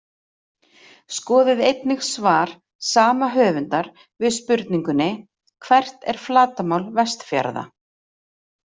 Skoðið einnig svar sama höfundar við spurningunni Hvert er flatarmál Vestfjarða?